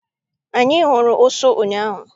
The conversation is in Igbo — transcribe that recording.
Anyị hụrụ ụsụ ụnyaahụ.